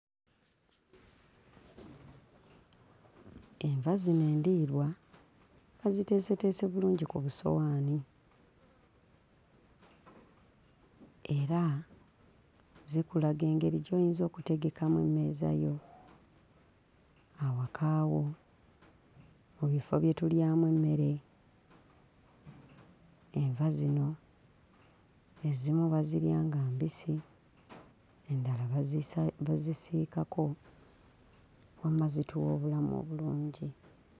Enva zino endiirwa baziteeseteese bulungi ku busowaani era zikulaga engeri gy'oyinza okutegekamu emmeeza yo awaka wo, mu bifo bye tulyamu emmere. Enva zino ezimu bazirya nga mbisi, endala bazisa... bazisiikako; wamma zituwa obulamu obulungi.